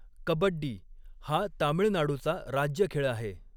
कबड्डी हा तामिळनाडूचा राज्य खेळ आहे.